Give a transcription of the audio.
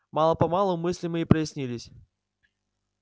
мало-помалу мысли мои прояснились